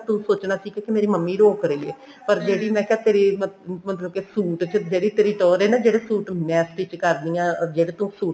ਤੂੰ ਸੋਚਣਾ ਸੀ ਕੀ ਮੇਰੀ ਮੰਮੀ ਰੋਕ ਰਹੀ ਹੈ ਪਰ ਜਿਹੜੀ ਮੈਂ ਕਿਹਾ ਤੇਰੇ ਮਤਲਬ ਮਤਲਬ suit ਚ ਜਿਹੜੀ ਤੇਰੀ ਟੋਰ ਹੈ ਨਾ ਜਿਹੜੇ suit ਤੇਰੇ ਮੈਂ stich ਕਰਦੀ ਹਾਂ ਅਰ ਜਿਹੜੇ ਤੂੰ suit